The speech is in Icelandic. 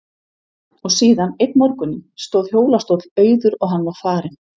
Og síðan, einn morguninn, stóð hjólastóll auður og hann var farinn.